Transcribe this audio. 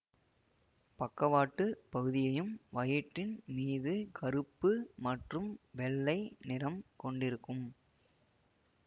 பக்கவாட்டு பகுதியையும் வயிற்றின் மீது கருப்பு மற்றும் வெள்ளை நிறம் கொண்டிருக்கும்